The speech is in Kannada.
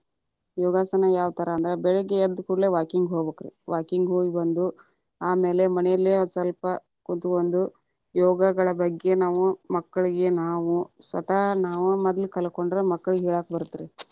ಯೋಗಾಸನ ಯಾವತರ ಅಂದ್ರ, ಬೆಳಿಗ್ಗೆ ಎದ್ದ ಕೂಡ್ಲೇ walking ಹೋಗ್ಬೇಕರಿ walking ಹೋಗಬಂದು, ಆಮೇಲೆ ಮನೇಲಿ ಸ್ವಲ್ಪ ಕುತ್ಕೊಂದು ಯೋಗಗಳ ಬಗ್ಗೆ ನಾವು ಮಕ್ಕಳಿಗೆ ನಾವು ಸ್ವತಃ ನಾವ ಮದ್ಲಾ ಕಲಕೊಂಡರ ಮಕ್ಕಳಿಗೆ ಹೇಳಾಕ ಬರತ್ತ ರೀ.